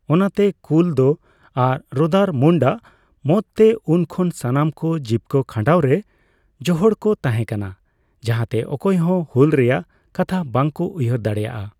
ᱚᱱᱟᱛᱮ ᱠᱩᱞᱫᱚ ᱟᱨ ᱨᱚᱫᱟᱨᱢᱩᱱᱰ ᱟᱜ ᱢᱚᱛᱛᱮ, ᱩᱱ ᱠᱷᱚᱱ ᱥᱟᱱᱟᱢ ᱠᱚ ᱡᱤᱵᱠᱟᱹ ᱠᱷᱟᱸᱰᱟᱣᱨᱮ ᱡᱚᱦᱚᱲ ᱠᱚ ᱛᱟᱦᱮᱸ ᱠᱟᱱᱟ ᱡᱟᱦᱟᱸᱛᱮ ᱚᱠᱚᱭ ᱦᱚᱸ ᱦᱩᱞ ᱨᱮᱭᱟᱜ ᱠᱟᱛᱷᱟ ᱵᱟᱝ ᱠᱚ ᱩᱭᱦᱟᱹᱨ ᱫᱟᱲᱮᱭᱟᱜᱼᱟ ᱾